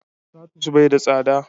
tatus bai da tsada da